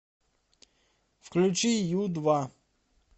включи ю два